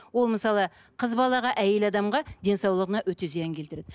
ол мысалы қыз балаға әйел адамға денсаулығына өте зиян келтіреді